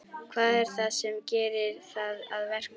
Hvað er það sem gerir það að verkum?